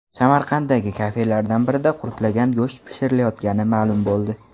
Samarqanddagi kafelardan birida qurtlagan go‘sht pishirilayotgani ma’lum bo‘ldi .